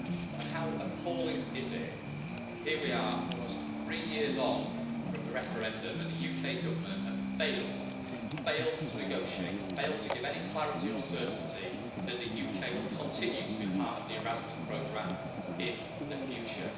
And how appalling is it here we are, almost three years on from the referendum, and the UK Government has failed failed to negotiate, failed to give any clarity or certainty that the UK will continue to be part of the Erasmus programme in the future.